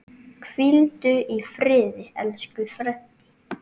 Hvíldu í friði, elsku Freddi.